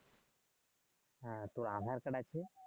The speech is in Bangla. হ্যাঁ তোর আভা একটা ডাক দে